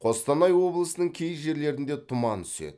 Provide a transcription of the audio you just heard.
қостанай облысының кей жерлерінде тұман түседі